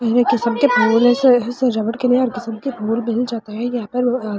एक किस्म के फूल सजावट के लिए हर किस्म के फूल मिल जाता है या फिर--